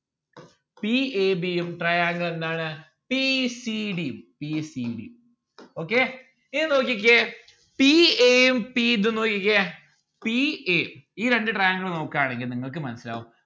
p a b ഉം triangle എന്താണ് p c d p c d okay ഇനി നോക്കിക്കേ p a യും p ഇതും നോക്കിക്കേ p a ഈ രണ്ട്‌ triangle നോക്കാണെങ്കി നിങ്ങൾക്ക് മനസ്സിലാവും